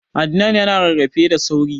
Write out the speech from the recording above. Adnan ya na rarrafe da sauri